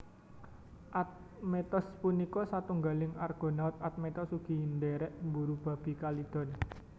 Admetos punika satunggaling Argonaut Admetos ugi ndhèrèk mburu Babi Kalidon